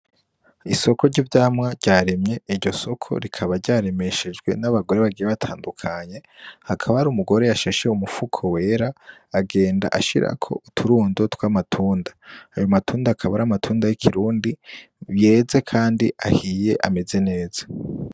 Isoko ry'ivyamwa ryaremye iryo soko rikaba ryaremeshejwe n'abagore bagire batandukanye hakaba ari umugore yashashiye umupfuko wera agenda ashirako uturundo tw'amatunda ayo matunda akaba ari amatunda y'ikirundi yeze, kandi ahiye ameze neza.